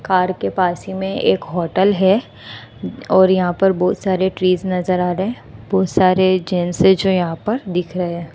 Car के पास ही में एक होटल है और यहां पर बहुत सारे ट्रीज नजर आ रहे हैं बहुत सारे जेंट्स हैं जो यहा पर दिख रहे हैं।